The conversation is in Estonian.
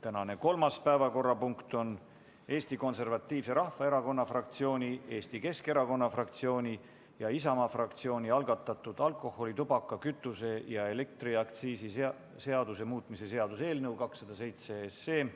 Tänane kolmas päevakorrapunkt on Eesti Konservatiivse Rahvaerakonna fraktsiooni, Eesti Keskerakonna fraktsiooni ja Isamaa fraktsiooni algatatud alkoholi-, tubaka-, kütuse- ja elektriaktsiisi seaduse muutmise seaduse eelnõu 207